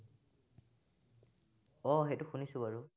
আহ সেইটো শুনিছো বাৰু।